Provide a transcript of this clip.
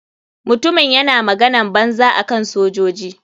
Mutumin yana maganan banza akan sojoji.